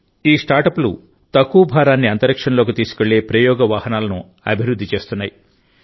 ఈ స్టార్టప్లు తక్కువ భారాన్ని అంతరిక్షంలోకి తీసుకెళ్లే ప్రయోగ వాహనాలను అభివృద్ధి చేస్తున్నాయి